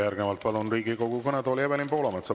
Järgnevalt palun Riigikogu kõnetooli Evelin Poolametsa.